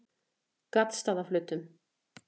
Gaddstaðaflötum